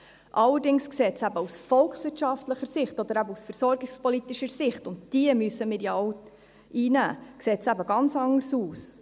Allerdings sieht dies eben aus volkswirtschaftlicher und versorgungspolitischer Sicht – und diese müssen wir ja auch einnehmen – ganz anders aus.